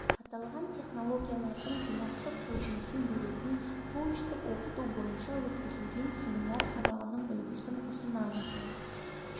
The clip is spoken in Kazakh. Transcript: аталған технологиялардың жинақтық көрінісін беретін коучтік оқыту бойынша өткізілген семинар сабағының үлгісін ұсынамыз